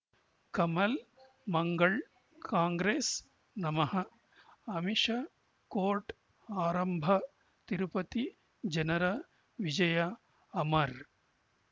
ಕಮಲ್ ಮಂಗಳ್ ಕಾಂಗ್ರೆಸ್ ನಮಃ ಅಮಿಷ್ ಕೋರ್ಟ್ ಆರಂಭ ತಿರುಪತಿ ಜನರ ವಿಜಯ ಅಮರ್